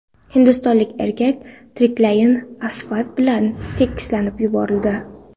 Hindistonlik erkak tiriklayin asfalt bilan tekislab yuborildi.